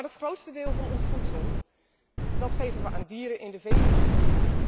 Maar het grootste deel van ons voedsel geven we aan dieren in de vee industrie.